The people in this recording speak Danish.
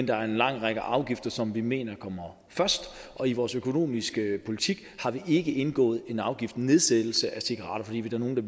der er en lang række afgifter som vi mener kommer først og i vores økonomiske politik har vi ikke indgået en afgiftsnedsættelse af cigaretter fordi der er nogle